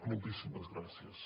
moltíssimes gràcies